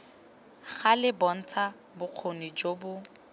gale bontsha bokgoni jo bo